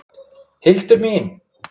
Hildur mín!